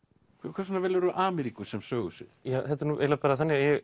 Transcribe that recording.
hvers vegna velurðu Ameríku sem sögusvið þetta er eiginlega bara þannig að ég